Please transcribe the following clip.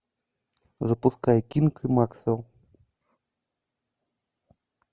запускай кинг и максвелл